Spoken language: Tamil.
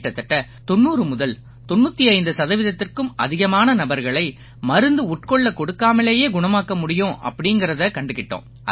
கிட்டத்தட்ட 90 முதல் 95 சதவீதத்திற்கும் அதிகமான நபர்களை மருந்து உட்கொள்ளக் கொடுக்காமலேயே குணமாக்க முடியும் அப்படீங்கறதைக் கண்டுக்கிட்டோம்